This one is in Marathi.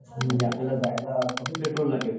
म्हणजे आपल्याला जायला कमी पेट्रोल लागेल.